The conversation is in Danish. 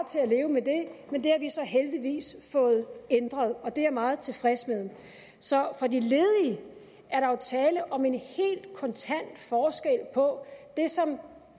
til at leve med det men det har vi så heldigvis fået ændret og det er jeg meget tilfreds med så for de ledige er der jo tale om en helt kontant forskel på det som